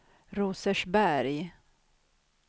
Rosersberg